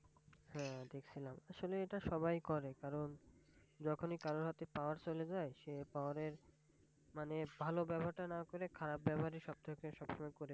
হাঁ দেখছিলাম, আসলে এটা সবাই করে। কারন যখনই কারোর হাতে Power চলে যায়। সে Power এর মানে ভালব্যবহার টা না করে খারাপ ব্যবহারই সবথেকে সবসময় করে।